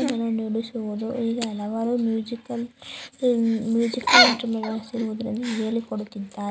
ಅನ್ನು ನುಡಿಸುದು ಹೀಗೆ ಹಲವಾರು ಮ್ಯೂಸಿಕಲ್ ಹೇಳಿಕೊಡಿತ್ತಿದ್ದರೆ.